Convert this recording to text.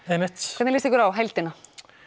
einmitt hvernig lýst ykkur á heildina